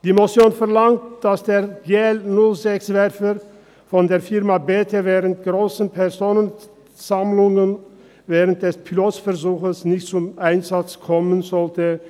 Die Motion verlangt, dass der GL06-Werfer der Firma B&T bei grossen Personenansammlungen während des Pilotversuchs nicht zum Einsatz kommen soll.